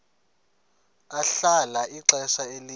ahlala ixesha elide